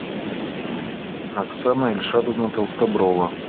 оксана ильшадовна толстоброва